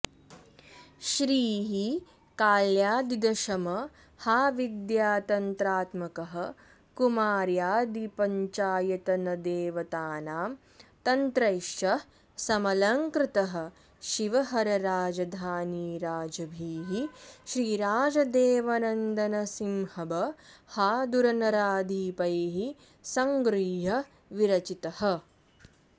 श्रीः काल्यादिदशमहाविद्यातन्त्रात्मकः कुमार्यादिपञ्चायतनदेवतानां तन्त्रैश्च समलङ्कृतः शिवहरराजधानीराजभिः श्रीराजदेवनन्दनसिम्हबहादुरनराधिपैः सङ्गृह्य विरचितः